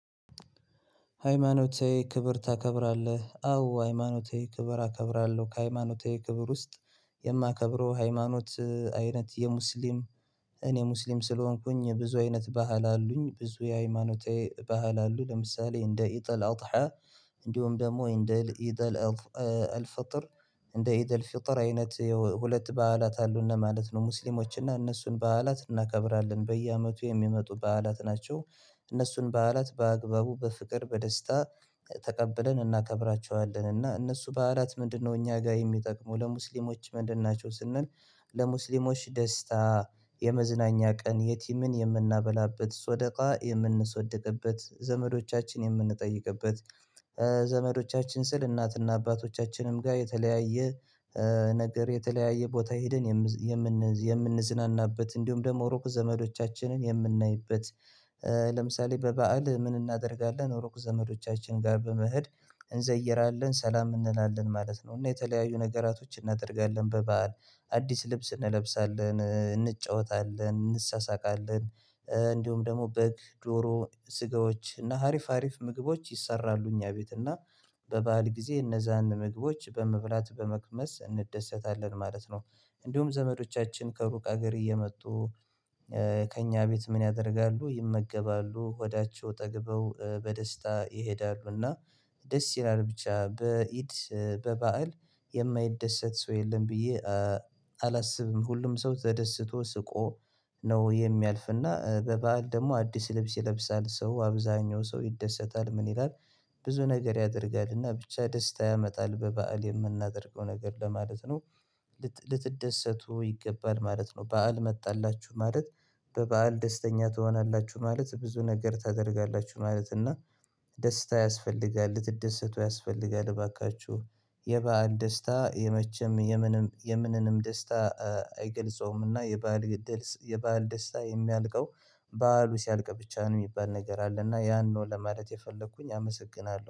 ሃይማኖቴ ክብር ታከብራለህ? አዎ ሃይማኖቴ ክብር አከብራለሁ ከሃይማኖቴ ክብር ውስጥ የማከብረው ሃይማኖት አይነት የሙስሊም። እኔ ሙስሊም ስለሆንኩኝ ብዙ አይነት ባህል አሉኝ ብዙ የሃይማኖቴ ባህል አሉ። ለምሳሌ እንደ ኢጥል አውጥሃ እንደውም ደግሞ እንደ ኢጥል አልፈጥር እንደ ኢደል ፍጥር አይነት ሁለት በዓላት አሉ እነ ማለት ነው ሙስሊሞች እና እነሱን በዓላት እናከብራለን በየአመቱ የሚመጡ በዓላት ናቸው። እነሱን በዓላት በአግባቡ በፍቅር በደስታ ተቀብለን እናከብራቸዋለን። እና እነሱ በአራት ምንድነው እኛ ጋር የሚጠቅሙ ለሙስሊሞች ምንድን ናቸው ስንል? ለሙስሊሞች ደስታ የመዝናኛ ቀን የቲምን የምናበላበት ሶደቃ የምንሶደቅበት ዘመዶቻችን የምንጠይቅበት ዘመዶቻችን ስል እናትና አባቶቻችንም ጋር የተለያየ ነገር የተለያየ ቦታ ሄደን የምን የምንዝናናበት እንዲሁም ደግሞ ሩቅ ዘመዶቻችንን የምናይበት። ለምሳሌ በበዓል ምን እናደርጋለን ሩቅ ዘመዶቻችን ጋር በመሄድ እንዘይራለን ሰላም እንላለን ማለት ነው። እና የተለያዩ ነገራቶችን እናደርጋለን በበዓል አዲስ ልብስ እንለብሳለን እንጫወታለን እንሳሳቃለን። እንዲሁም ደግሞ በግ ዶሮ ስጋዎች እና አሪፍ አሪፍ ምግቦች ይሰራሉ እኛ ቤት እና በባአል ጊዜ እነዛን ምግቦች በመብላት በመቅመስ እንደሰታለን ማለት ነው። እንዲሁም ዘመዶቻችን ከሩቅ ሀገር እየመጡ። ከእኛ ቤት ምን ያደርጋሉ ይመገባሉ ሆዳቸው ጠግበው በደስታ ይሄዳሉ እና ደስ ይላል ብቻ በኢድ በባእል የማይደሰት ሰው የለም ብዬ አላስብም። ሁሉም ሰው ተደስቶ ስቆ ነው የሚያልፍና በበዓል ደግሞ አዲስ ልብስ ይለብሳል ሰው አብዛኛው ሰው ይደሰታል ምን ይላል ብዙ ነገር ያደርጋልና ብቻ ደስታ ያመጣል በበዓል የምናደርገው ነገር ለማለት ነው። ልትደሰቱ ይገባል ማለት ነው በዓል መጣላችሁ ማለት በበዓል ደስተኛ ትሆናላችሁ ማለት ብዙ ነገር ታደርጋላችሁ ማለት እና ደስታ ያስፈልጋል ልትደሰቱ ያስፈልጋል። እባካችሁ የባዓል ደስታ የመቸም የምንም የምንንም ደስታ አይገልጸውምና የባዓል ግድልስ የባዓል ደስታ የሚያልቀው ባአሉ ሲያልቅ ብቻ ነው የሚባል ነገር አለ እና ያንን ነው ለማለት የፈለኩኝ አመሰግናለሁ